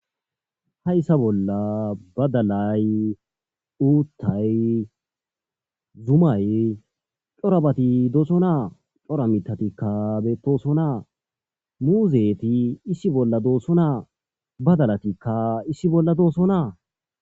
Ha issa bolla badalay uuttay zumay corabati dooso naa cora mitatikka beettoso naa muuzeeti issi bolla doosso naa badalatikka issi bolla dooso naa